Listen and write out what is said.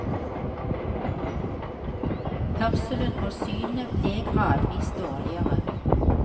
Hørselen og synet ble gradvis dårligere.